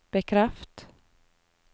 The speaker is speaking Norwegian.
bekreft